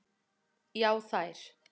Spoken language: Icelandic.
Já þær.